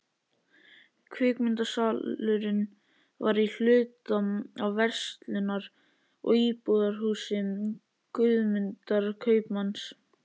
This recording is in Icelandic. Kvikmyndasalurinn var í hluta af verslunar- og íbúðarhúsi Guðmundar kaupmanns.